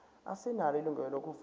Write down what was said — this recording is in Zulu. asinalo ilungelo lokuvota